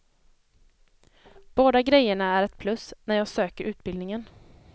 Båda grejerna är ett plus när jag söker utbildningen.